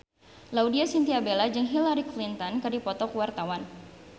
Laudya Chintya Bella jeung Hillary Clinton keur dipoto ku wartawan